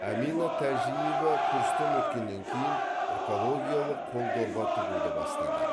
әмина тәжиева курстан өткеннен кейін экологиялық қол дорба тігуді бастады